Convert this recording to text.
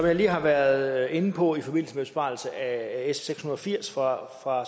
jeg lige har været inde på i forbindelse med besvarelsen af s seks hundrede og firs fra